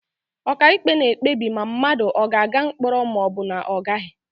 Ọkàikpe na-ekpebi ma mmadụ ogaaga mkpọrọ ma ọ bụ na ọ gaghị.